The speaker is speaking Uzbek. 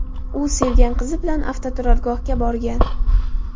U sevgan qizi bilan avtoturargohga borgan.